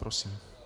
Prosím.